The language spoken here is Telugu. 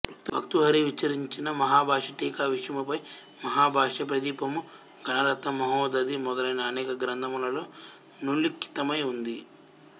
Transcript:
భర్తృహరి విరచించిన మహాభాష్య టీక విషయముపై మహాభాష్య ప్రదీపము గణరత్న మహోదధి మొదలైన అనేక గ్రంథములలో నుల్లిఖితమై ఉంది